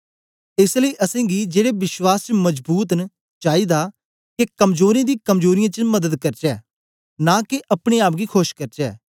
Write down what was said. एस लेई असेंगी जेड़े विश्वासी च मजबूत न चाईदा के कमजोरें दी कमजोरीयें च मदद करचै नां के अपने आप गी खोश करचै